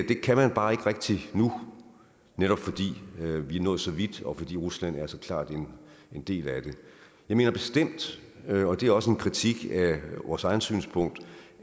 kan man bare ikke rigtig nu netop fordi vi er nået så vidt og fordi rusland så klart er en del af det jeg mener bestemt og det er også en kritik af vores eget synspunkt